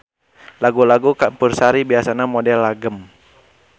Lagu-lagu campursari biasana model langgam.